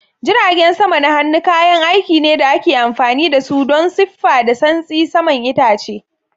Jiragen sama na hannu kayan aiki ne da ake amfani da su don siffa da santsin saman itace.